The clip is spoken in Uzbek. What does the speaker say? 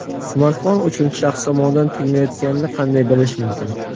Smartfon uchinchi shaxs tomonidan tinglanayotganini qanday bilish mumkin?.